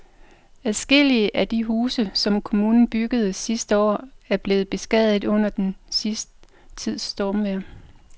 Adskillige af de huse, som kommunen byggede sidste år, er blevet beskadiget under den sidste tids stormvejr.